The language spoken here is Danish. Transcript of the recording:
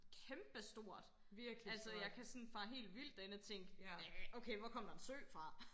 kæmpe stort altså jeg kan sådan fare helt vildt derinde og tænke hvad okay hvor kom der en sø fra